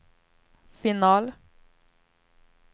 final